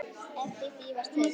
Eftir því var tekið.